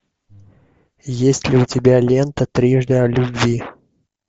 есть ли у тебя лента трижды о любви